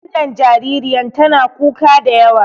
Wannan jaririyan tana kuka da yawa.